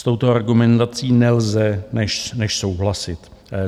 S touto argumentací nelze než souhlasit.